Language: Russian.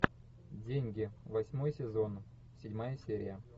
деньги восьмой сезон седьмая серия